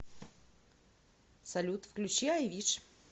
салют включи ай виш